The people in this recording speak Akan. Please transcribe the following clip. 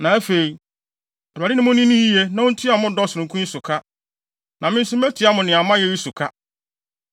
Na afei, Awurade ne mo nni no yiye na ontua mo dɔ sononko yi so ka. Na me nso metua mo nea a moayɛ yi so ka.